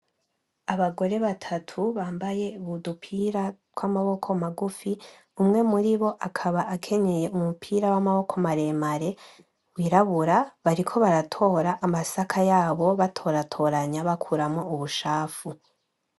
Abagore batatu bambaye udupira tw'amaboko magufi, umwe muri bo akaba akenyeye umupira w'amaboko maremare w'irabura, bariko baratora amasaka yabo batoratoranya bakuramwo ubucafu.